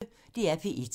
DR P1